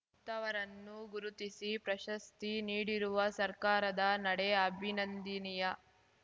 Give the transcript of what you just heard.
ಅಂತಹವರನ್ನು ಗುರುತಿಸಿ ಪ್ರಶಸ್ತಿ ನೀಡಿರುವ ಸರ್ಕಾರದ ನಡೆ ಅಭಿನಂದಿನೀಯ